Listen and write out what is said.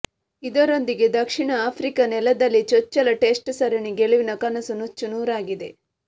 ಇದರೊಂದಿಗೆ ದಕ್ಷಿಣ ಆಫ್ರಿಕಾ ನೆಲದಲ್ಲಿ ಚೊಚ್ಚಲ ಟೆಸ್ಟ್ ಸರಣಿ ಗೆಲುವಿನ ಕನಸು ನೂಚ್ಚು ನೂರಾಗಿದೆ